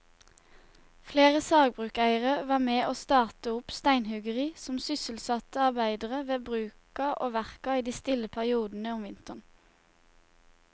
Flere sagbrukseiere var med å starte opp steinhuggeri som sysselsatte arbeidere ved bruka og verka i de stille periodene om vinteren.